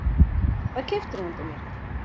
Hvað keyptirðu handa mér?